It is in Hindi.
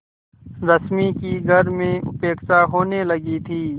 रश्मि की घर में उपेक्षा होने लगी थी